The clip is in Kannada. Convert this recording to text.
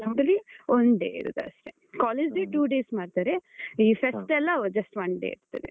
ನಮ್ದ್ರಲ್ಲೀ one day ಇರುದು ಅಷ್ಟೇ college day, two days ಮಾಡ್ತಾರೆ. ಈ fest ಎಲ್ಲ just one day ಇರ್ತದೆ.